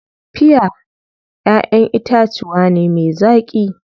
Piya ƴaʼƴen itatuwa ne me zaƙi.